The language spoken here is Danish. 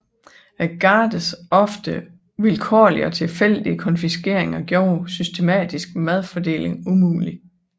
Gardens ofte vilkårlige og tilfældige konfiskeringer gjorde systematisk madfordeling umulig